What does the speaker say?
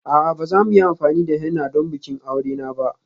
A'a, ba za mu yi amfani da henna don bikin aure na ba.